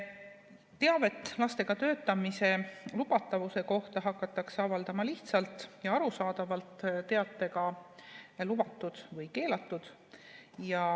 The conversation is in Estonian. Teavet lastega töötamise lubatavuse kohta hakatakse avaldama lihtsalt ja arusaadavalt teatega "Lubatud" või "Keelatud".